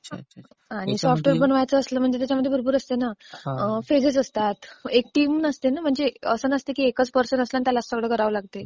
Software बनवायचं म्हणजे त्याच्यामध्ये भरपूर असतं ना, फेजेस असतात, एक टीम नसते ना म्हणजे. असं नसतं की एकाच पर्सन आहे आणि त्यालाच सगळं करावं लागतंय.